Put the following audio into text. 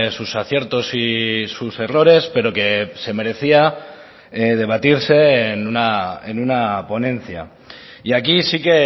sus aciertos y sus errores pero que se merecía debatirse en una ponencia y aquí sí que